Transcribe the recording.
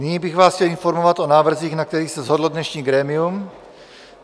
Nyní bych vás chtěl informovat o návrzích, na kterých se shodlo dnešní grémium.